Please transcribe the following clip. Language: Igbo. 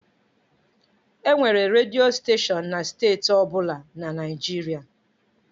Enwere redio steshọn na steeti ọ bụla na Naịjirịa.